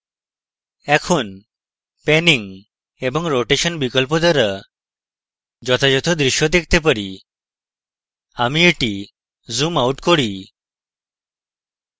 এখন panning এবং rotation বিকল্প দ্বারা যথাযথ দৃশ্য পেতে হবে আমি এটি zoom out করি